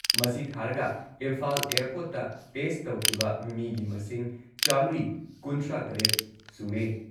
ꯃꯁꯤ ꯊꯥꯥꯔꯒ ꯏꯝꯐꯥꯜ ꯑꯦꯌꯔꯄꯣꯔꯠꯇ ꯇꯦꯁꯠ ꯇꯧꯈꯤꯕ ꯃꯤꯒꯤ ꯃꯁꯤꯡ ꯆꯥꯃ꯭ꯔꯤ ꯀꯨꯟꯊ꯭ꯔꯥꯇꯔꯦꯠ ꯁꯨꯔꯦ